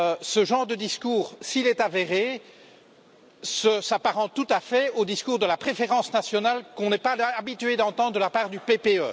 Ce genre de discours, s'il est avéré, s'apparente tout à fait au discours de la préférence nationale qu'on n'est pas habitué à entendre de la part du PPE.